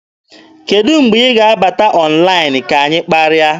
Kedụ mgbe ị ga-abata ọnlaịn ka anyị kparịa?